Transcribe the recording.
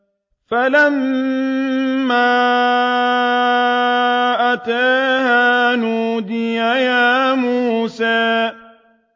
فَلَمَّا أَتَاهَا نُودِيَ يَا مُوسَىٰ